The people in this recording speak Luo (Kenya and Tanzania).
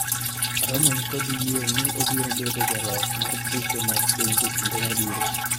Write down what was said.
Aromo nikod yie ni obiro bedo jaloch mar tuke mag pinje kinde mabiro